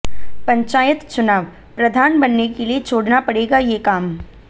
पंचायत चुनावः प्रधान बनने के लिए छोड़ना पड़ेगा ये काम